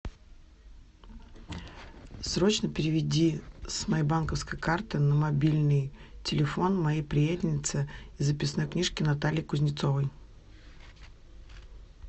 срочно переведи с моей банковской карты на мобильный телефон моей приятельнице из записной книжки наталье кузнецовой